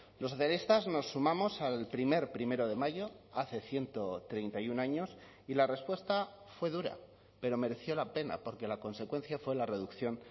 los socialistas nos sumamos al primer primero de mayo hace ciento treinta y uno años y la respuesta fue dura pero mereció la pena porque la consecuencia fue la reducción